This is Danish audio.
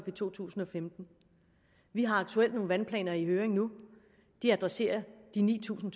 i to tusind og femten vi har aktuelt nogle vandplaner i høring nu og de adresserer de ni tusind